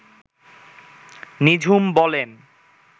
নিঝুম বলেন